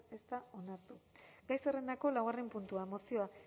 ez da onartu gai zerrendako laugarren puntua mozioa